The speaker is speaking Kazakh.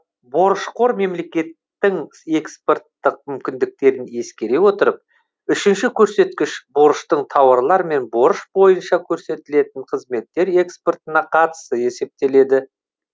борышқор мемлекеттің экспорттық мүмкіндіктерін ескере отырып үшінші көрсеткіш борыштың тауарлар мен борыш бойынша көрсетілетін қызметтер экспортына қатынасы есептеледі